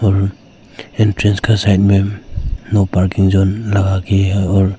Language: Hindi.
और एंट्रेंस का साइड मे नो पार्किंग जॉन लगती है और--